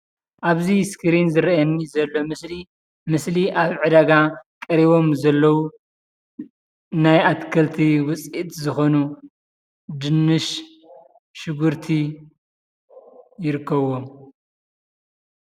ኣብዚ እስክሪን ዝርኣየኒ ዘሎ ምስሊ ኣብ ዕዳጋ ቀሪቦም ዘለው ናይ ኣትክልቲ ውፅኢት ዝኾኑ ድንሽ፣ ሽጉርቲ ይርከብዎም።